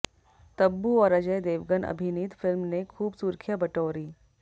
तब्बू और अजय देवगन अभिनीत फिल्म ने खूब सुर्खियां बटौरी